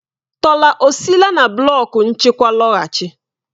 Tola ọ sile na blọk nchịkwa lọghachi?